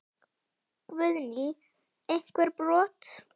Guðný: Einhver brot?